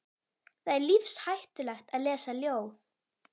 Það er lífshættulegt að lesa ljóð.